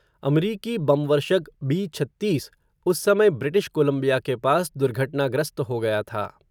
अमरीकी बमवर्षक बी छत्तीस, उस समय ब्रिटिश कोलंबिया के पास दुर्घटनाग्रस्त हो गया था.